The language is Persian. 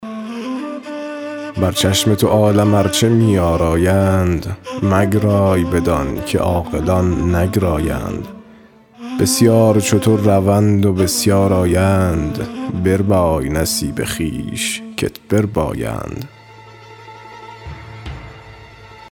بر چشم تو عالم ارچه می آرایند مگرای بدان که عاقلان نگرایند بسیار چو تو روند و بسیار آیند بربای نصیب خویش کت بربایند